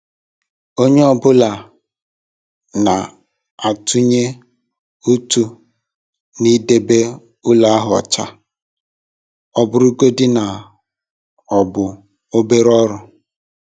Onye ọ bụla na-atụnye ụtụ n'idebe ụlọ ahụ ọcha, ọ bụrụgodị na ọ bụ obere ọrụ.